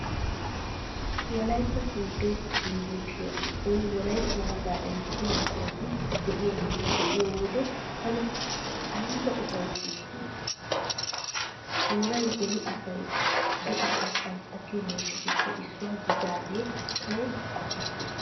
Wolaytta sooddo yunvurshiyaa giddon wolaytta wogaa erissiyaa buqurati diyaageeta be'iyo wode tana ayba ufayssees gaadi! Tooray beni asay do'ata shankkatiyoo mishshatuppe issuwaa gidiyoogee tawu qopettees.